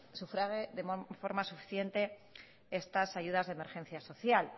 sufrague de forma suficiente estas ayudas de emergencia social